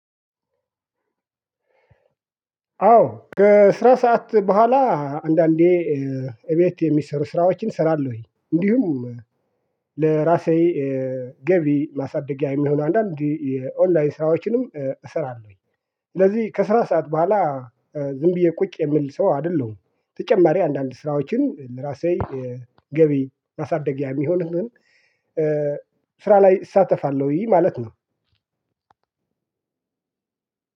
አዎ ከስራ ሰዓት በኋላ አንዳንዴ እቤት የሚሰሩ ስራዎችን እሰራለሁኝ እንዲሁም ለራሴ ገቢ ማሳደጊያ የሚሆነው አንዳንዴ የኦንላይን ስራዎችንም እሰራለሁኝ። ስለዚህ ከስራ ሰዓት በኋላ ዝም ብዬ ቁጭ የምል ሰው አይደለሁም። ተጨማሪ አንዳንድ ስራዎችን ለራሴ ገቢ ማሳደጊያ የሚሆንን ስራ ላይ እሳተፋለሁኝ ማለት ነው።